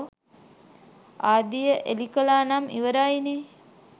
ආදිය එලිකළා නම් ඉවරයි නේ